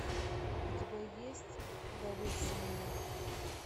у тебя есть доверься мне